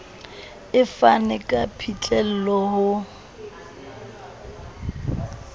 e fane ka phihlello ho